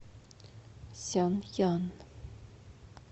сянъян